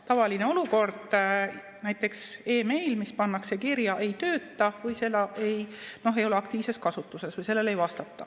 Tavaline olukord on, et näiteks meiliaadress, mis pannakse kirja, ei tööta või ei ole aktiivses kasutuses või sellelt ei vastata.